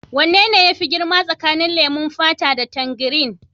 Wane ne yafi girma tsakanin leman fata da tangirin?